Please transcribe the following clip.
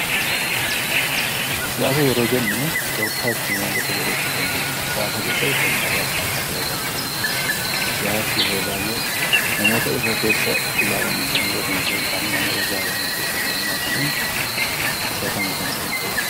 siyaasa yeroo jennu tooftaa itti waanta tokko gochuu dandeenyudha siyaasa keessatti tooftaalii adda addaa fayyadamuu danda'u siyaasa yeroo baay'ee namoota irra keessa ilaalanii kan ubbatamasoo hin taane namoota siyaasa na keessatti ilmaataniin ubbatamue kan danda'u